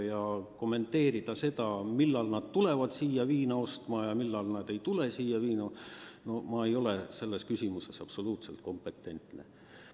Ma ei taha prognoosida, millal keegi tuleb või läheb viina ostma ja millal mitte – ma ei ole selles küsimuses absoluutselt kompetentne.